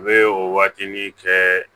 U bɛ o waatini kɛ